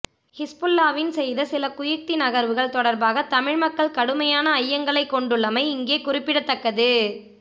ஹிஸ்புல்லாவின் செய்த சில குயுக்தி நகர்வுகள் தொடர்பாக தமிழ்மக்கள் கடுமையான ஐயங்களை கொண்டுள்ளமை இங்கே குறிப்பிடத்தக்கது